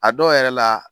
A dɔw yɛrɛ la